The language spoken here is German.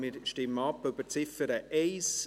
Wir stimmen über die Ziffer 1 ab.